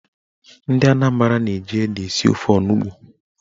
Ndị Anambra na-eji ede esi ofe onugbo.